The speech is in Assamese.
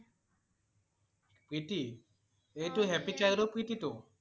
প্ৰীতি? এইটো happy Child ৰ প্ৰীতি টো?